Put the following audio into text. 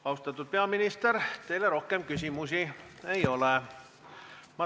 Austatud peaminister, teile rohkem küsimusi ei ole.